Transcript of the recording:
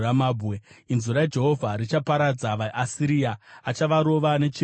Inzwi raJehovha richaparadza vaAsiria; achavarova netsvimbo yake.